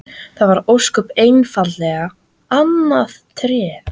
Það var ósköp einfaldlega annað Tré!